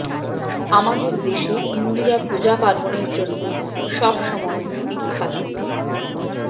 আমাদের দেশে হিন্দুরা পূজা পার্বণের জন্যে সব সময় বিখ্যা